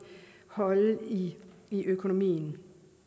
holde i økonomien